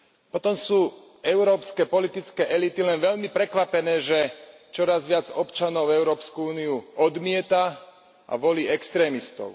Potom sú európske politické elity len veľmi prekvapené, že čoraz viac občanov Európsku úniu odmieta a volí extrémistov.